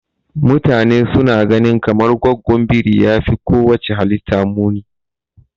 Mutane suna gani kamar gwaggon biri yafi kowacce halitta muni.